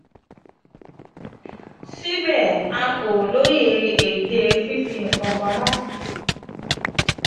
síbẹ̀ a kò lóye ète fifi nkan pamo.